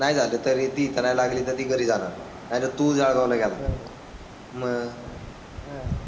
नाही झाले तरी ती इथे नाही लागली तर ती घरी जाणार आहे तर तू जळगावला गेला मग. आह.